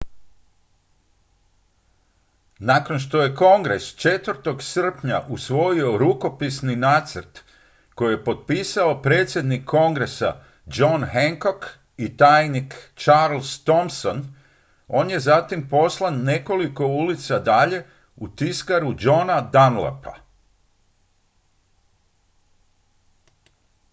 nakon što je kongres 4. srpnja usvojio rukopisni nacrt koji je potpisao predsjednik kongresa john hancock i tajnik charles thomson on je zatim poslan nekoliko ulica dalje u tiskaru johna dunlapa